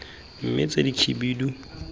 mme tse dikhibidu kwa morago